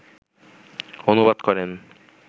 অনুবাদ করেন